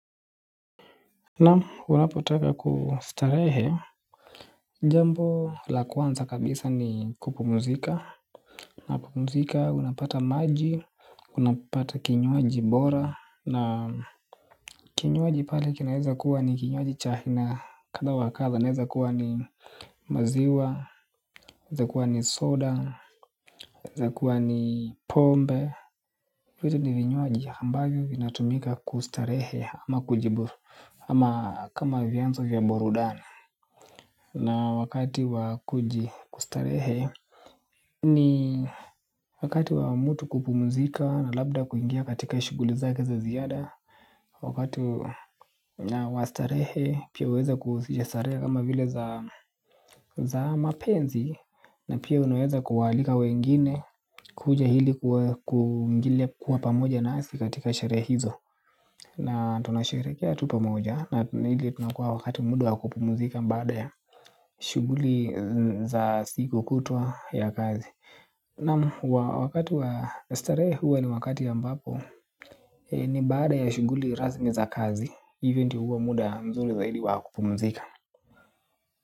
Naam unapotaka kustarehe. Jambo la kwanza kabisa ni kupumzika. Na kupumzika unapata maji. Unapata kinywaji bora. Na kinywaji pale kinaeza kuwa ni kinywaji cha aiina kadha wa kadha naeza kuwa ni maziwa inaeza kuwa ni soda inaeza kuwa ni pombe hivi ni vinywaji ambavyo vina tumika kustarehe ama kama vyanzo vya burudani. Na wakati wakujistarehe ni wakati wa mtu kupumzika na labda kuingia katika shughuli zake za ziada. Wakati wastarehe pia uweza kujistarehe kama vile za mapenzi. Na pia unaeza kuwalika wengine kuja hili kuingilia kuwa pamoja nasi katika sherehizo. Na tunasherekea tu pamoja na ili tunakuwa wakati muda wa kupumzika baada ya shughuli za siku kutu ya kazi. Naam wakati wa starehe huwa ni wakati ambapo ni baada ya shuguli rasmi za kazi hivo ndo huwa muda mzuri zaidi wakupumzika.